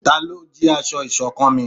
Talọ́ jí aṣọ iṣọ̀kan mí?